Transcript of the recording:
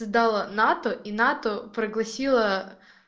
сдала на то и на то пригласила